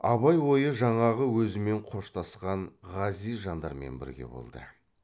абай ойы жаңағы өзімен қоштасқан ғазиз жандармен бірге болды